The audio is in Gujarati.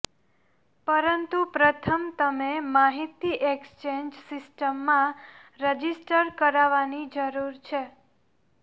પરંતુ પ્રથમ તમે માહિતી એક્સચેન્જ સિસ્ટમમાં રજિસ્ટર કરવાની જરૂર છે